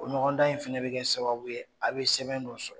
O ɲɔgɔndan in fana bɛ kɛ sababu ye a' bɛ sɛbɛn dɔ sɔrɔ